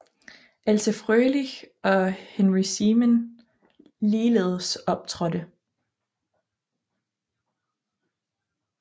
Else Frölich og Henry Seemann ligeledes optrådte